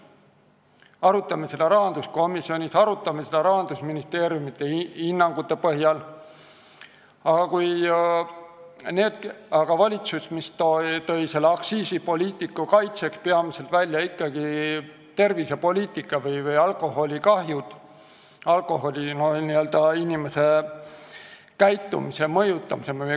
Me oleme seda arutanud rahanduskomisjonis ja Rahandusministeeriumi hinnangute põhjal, aga valitsus on aktsiisipoliitika kaitseks toonud peamiselt välja ikkagi tervisepoliitika või alkoholikahjud, aktsiisidega inimeste käitumise mõjutamise.